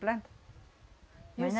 Planta. Mas nã... Isso.